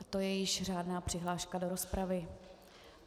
A to je již řádná přihláška do rozpravy.